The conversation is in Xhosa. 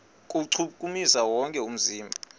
kuwuchukumisa wonke umzimba